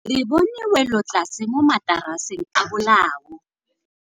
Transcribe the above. Re bone wêlôtlasê mo mataraseng a bolaô.